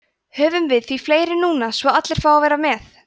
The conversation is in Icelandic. höfum við því fleiri núna svo allir fái að vera með